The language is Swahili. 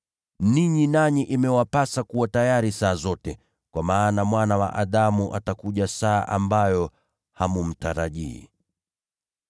Ninyi nanyi hamna budi kuwa tayari, kwa sababu Mwana wa Adamu atakuja saa msiyotazamia.”